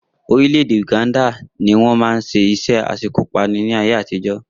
Orílẹ̀-èdè Uganda ni wọ́n máa ń ṣe iṣẹ́ aṣekúpani ní ayé àtijọ́